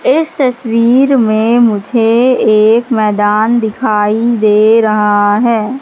इस तस्वीर में मुझे एक मैदान दिखाई दे रहा है।